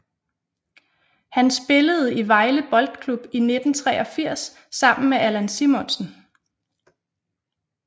Han spillede i Vejle Boldklub i 1983 sammen med Allan Simonsen